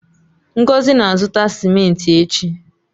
Ngozi na-azụta cimenti echi.